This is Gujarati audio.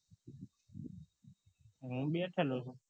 હું બેઠો છું